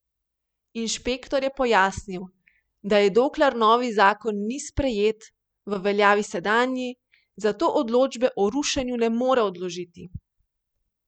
Kdor je zatopljen samo v ozek projekt, lahko podvomi vanj.